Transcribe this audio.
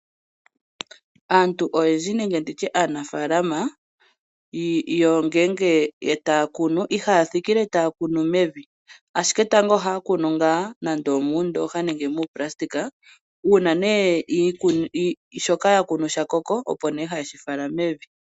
Aantu oyendji nenge ndi tye aanafaalama ngele taya kunu ihaya thikile taya kunu mevi, ashike tango ohaya kunu ngaa nande omuundooha nenge muupulasitika uuna nee shoka ya kunu sha koko, opo nee haye shi fala mevi.